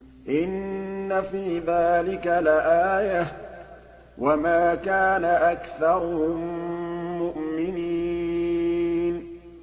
إِنَّ فِي ذَٰلِكَ لَآيَةً ۖ وَمَا كَانَ أَكْثَرُهُم مُّؤْمِنِينَ